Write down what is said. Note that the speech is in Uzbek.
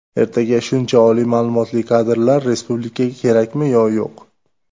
Ertaga shuncha oliy ma’lumotli kadrlar respublikaga kerakmi yo yo‘q?